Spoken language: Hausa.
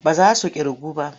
Ba za su ƙirgu ba.